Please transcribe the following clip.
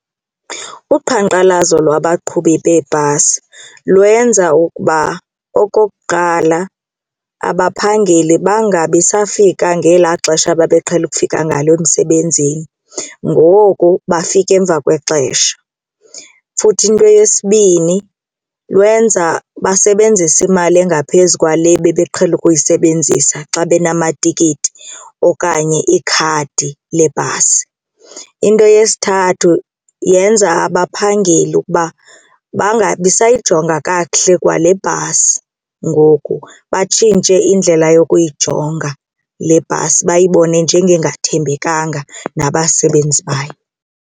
Uqhankqalazo lwabaqhubi beebhasi lwenza ukuba okokuqala abaphangeli bangabisafika ngela xesha babeqhele ukufika ngalo emsebenzini ngoku bafike emva kwexesha. Futhi into eyesibini lwenza basebenzise imali engaphezu kwale bebeqhele ukuyisebenzisa xa banamatikiti okanye ikhadi lebhasi. Into yesithathu yenza abaphangeli ukuba bangabisayijonga kakuhle kwale bhasi ngoku batshintshe indlela yokuyijonga le bhasi bayibone njengengathembekalanga nabasebenzi bayo.